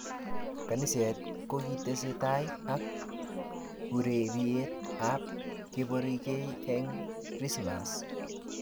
Kaniset kokitestai ak ureriet ab keborkei eng krismass